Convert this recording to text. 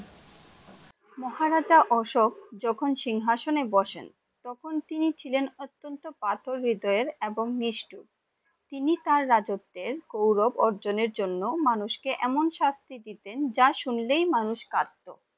মহারাজা অশোক যখন সিংহাসনে বসেন তখন তিনি ছিলেন অত্যন্ত পাথর হৃদয় এবং নিষ্ঠুর। তিনি রাজত্বের গৌরব অর্জনের জন্য মানুষ কে এমন শাস্তি দিতে যা শুনলেই মানুষ কাঁপতো ।